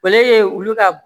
O le ye olu ka